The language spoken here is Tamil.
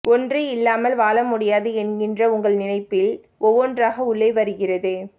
ஒன்று இல்லாமல் வாழ முடியாது என்கிற உங்கள் நினைப் பில் ஒவ்வொன்றாக உள்ளே வருகிறது